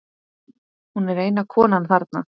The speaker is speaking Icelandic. Hún er eina konan þarna.